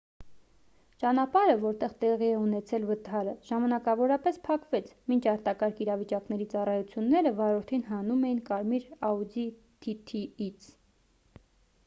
ճանապարհը որտեղ տեղի է ունեցել վթարը ժամանակավորապես փակվեց մինչ արտակարգ իրավիճակների ծառայությունները վարորդին հանում էին կարմիր audi tt ից